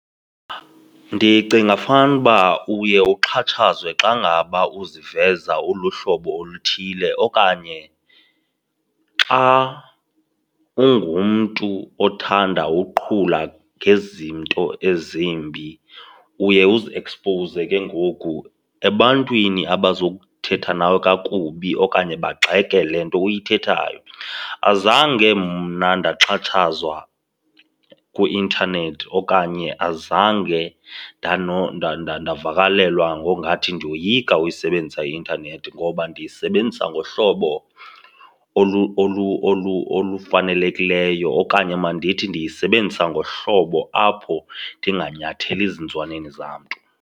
Ndicinga fanuba uye uxhatshazwe xa ngaba ukuziveza uluhlobo oluthile okanye xa ungumntu othanda uqhula ngezinto ezimbi, uye uziekspowuze ke ngoku ebantwini abazothetha nawe kakubi okanye bagxeke le nto uyithethayo. Azange mna ndaxhatshazwa kwi-intanethi okanye azange ndavakalelwa ngongathi ndiyoyika ukuyisebenzisa i-intanethi ngoba ndiyisebenzisa ngohlobo olufanelekileyo okanye mandithi ndiyisebenzisa ngohlobo apho ndinganyatheli zinzwaneni zamntu.